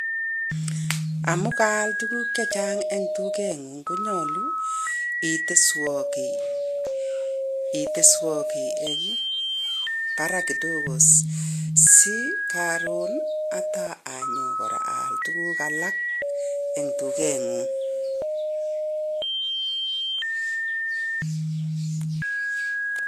Amu kaal tuguk che chang eng duket ngung, konyalu iteswan kii eng barak kidogo si karun ataanyon kora aal tuguk alak eng duket ngung.